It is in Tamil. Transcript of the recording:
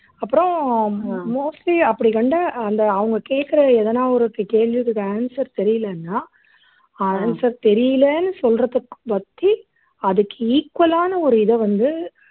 அப்புறம் mostly அப்படி கண்ட அந்த அவங்க கேட்கிற எதனா ஒரு கே கேள்விக்கு answer தெரியலைன்னா answer தெரியலைன்னு சொல்றதுக்கு அதுக்கு equal ஆன ஒரு இதை வந்து